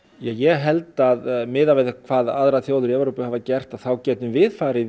ég held að miðað við það hvað aðrar þjóðir í Evrópu hafa gert að þá getum við farið